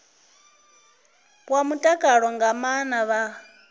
wa mutakalo nga maana vha